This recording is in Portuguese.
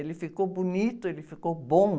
Ele ficou bonito, ele ficou bom.